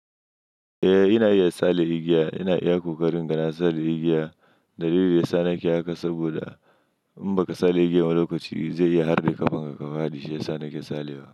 Eh ina iya sale igiya, ina iya ƙoƙarin gana sale igiya. Dalilin da ya sa nake haka saboda in baka sale igiyan a lokaci zai iya harbe ƙafanka, kafadi shi ya sa nake sale wa.